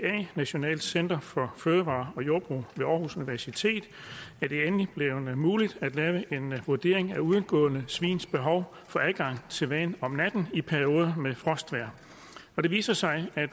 nationalt center for fødevarer og jordbrug ved aarhus universitet er det endelig blevet muligt at lave en vurdering af udegående svins behov for adgang til vand om natten i perioder med frostvejr og det viser sig at